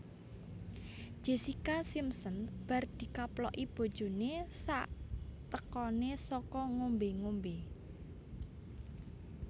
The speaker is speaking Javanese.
Jessica Simpson bar dikaploki bojone saktekone saka ngombe ngombe